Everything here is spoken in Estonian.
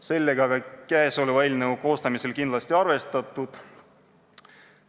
Sellega on ka eelnõu koostamisel kindlasti arvestatud.